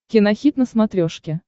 кинохит на смотрешке